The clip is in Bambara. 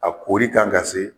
A koɔri kan ka se